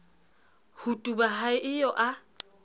ho tuba ha eo a